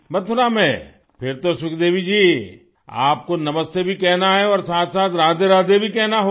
मथुरा में फिर तो सुखदेवी जी आपको नमस्ते भी कहना है और साथसाथ राधेराधे भी कहना होगा